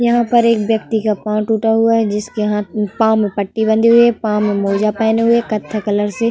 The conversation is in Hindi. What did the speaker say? यहाँ पर एक व्यक्ति का पाऊ टूटा है जिसके पाऊ में पट्टी बंधी हुई है। पाऊ में मौजा पहने हुए है। कत्थई कलर से --